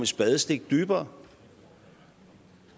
spadestik dybere